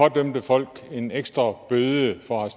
at idømme folk en ekstra bøde for at